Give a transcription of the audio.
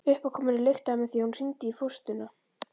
Uppákomunni lyktaði með því að hún hringdi í fóstruna.